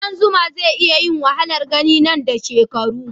kudan zuma zai yi wahalar gani nan da shekaru